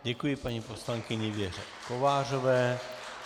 Děkuji paní poslankyni Věře Kovářové.